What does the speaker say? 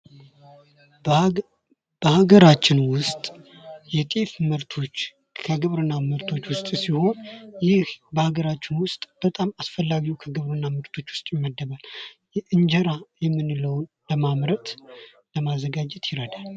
በሀገራችን ዉስጥ የጤፍ ምርቶች ከግብርና ምርቶች ዉስጥ ሲሆን ይህ በሀገራችን ዉስጥ በጣም አስፈላጊ የግብርና ምርቶች ዉስጥ ይመደባል። እንጀራ የሚባለዉን ለማምረት ለማዘጋጀት ይረዳል።